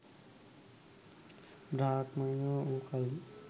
බ්‍රාහ්මණයෝ වූ කලී